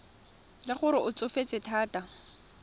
le gore o tsofetse thata